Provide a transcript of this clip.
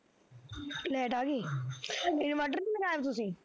light ਆਗੀ inverter ਨੀ ਲਗਾਇਆ ਵਾ ਤੁਸੀਂ